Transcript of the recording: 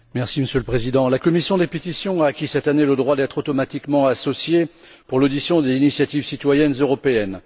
Monsieur le Président, la commission des pétitions a acquis cette année le droit d'être automatiquement associée pour l'audition des initiatives citoyennes européennes.